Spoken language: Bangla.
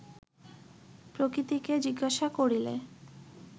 প্রকৃতিকে জিজ্ঞাসা করিলে